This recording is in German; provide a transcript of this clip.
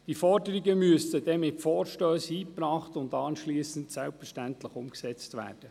Die Forderungen müssen mittels Vorstössen eingebracht und danach selbstverständlich umgesetzt werden.